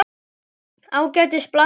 Ágætis blanda.